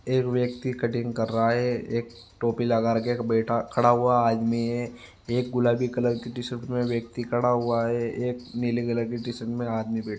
एक व्यक्ति कटिंग कर रहा हैं एक टोपी लगा के बैठा खड़ा हुआ आदमी हैं एक गुलाबी कलर की टी शर्ट मैं व्यक्ति खड़ा हुआ हैं एक नीले कलर की टी शर्ट मैं आदमी बैठा --